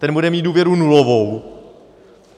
Ten bude mít důvěru nulovou.